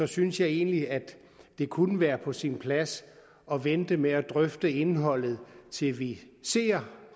synes jeg egentlig at det kunne være på sin plads at vente med at drøfte indholdet til vi ser